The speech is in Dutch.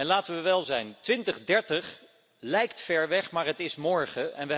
Laten we wel zijn, 2030 lijkt ver weg, maar het is morgen.